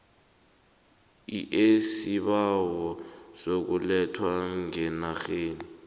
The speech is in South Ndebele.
eisibawo sokuletha ngenarheni